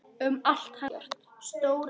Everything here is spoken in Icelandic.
Um allt hennar og ekkert.